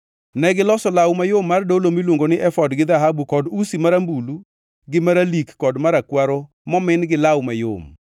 Negiloso law mayom mar dolo miluongo ni efod gi dhahabu kod usi marambulu gi maralik kod marakwaro momin gi law mayom.